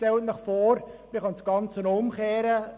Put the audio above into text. Stellen Sie sich vor, man könnte das Ganze umkehren.